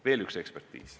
" Veel üks ekspertiis.